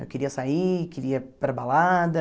Eu queria sair, queria ir para a balada.